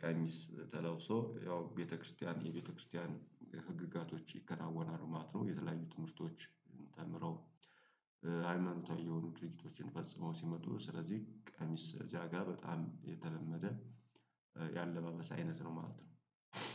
ቀሚስ ተለውሶ ያው ቤተክርስቲያን የቤተክርስቲያን ህግጋቶች ይከናወናሉ ማለት ነው። የተለያዩ ትምህርቶች ተምረው ሃይማኖታዊ የሆኑ ድርጊቶችን ፈጽመው ሲመጡ ስለዚህ ቀሚስ እዚያ ጋር በጣም የተለመደ የአለባበስ አይነት ነው ማለት ነው